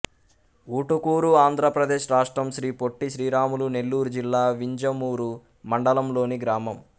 ఊటుకూరు ఆంధ్ర ప్రదేశ్ రాష్ట్రం శ్రీ పొట్టి శ్రీరాములు నెల్లూరు జిల్లా వింజమూరు మండలం లోని గ్రామం